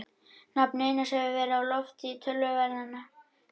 Nafn Einars hefur verið á lofti í töluverðan tíma.